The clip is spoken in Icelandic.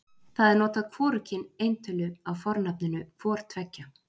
Þar er notað hvorugkyn eintölu af fornafninu hvor tveggja.